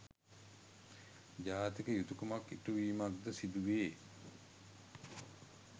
ජාතික යුතුකමක්‌ ඉටු වීමක්‌ද සිදුවේ.